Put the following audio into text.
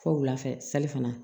Fɔ wulafɛ sali fana